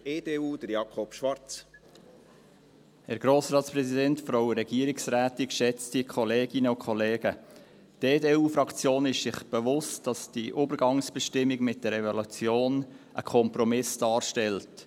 Die EDU-Fraktion ist sich bewusst, dass diese Übergangsbestimmung mit der Evaluation ein Kompromiss darstellt.